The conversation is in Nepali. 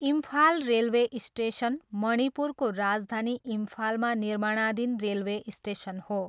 इम्फाल रेलवे स्टेसन, मणिपुरको राजधानी इम्फालमा निर्माणाधीन रेलवे स्टेसन हो।